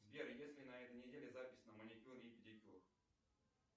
сбер есть ли на этой неделе запись на маникюр и педикюр